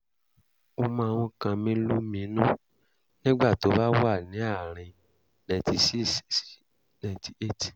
ó máań kan mí lóminú nígbà tó bá wà ní àárín ninety siọ sí ninety eight